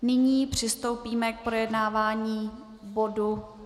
Nyní přistoupíme k projednávání bodu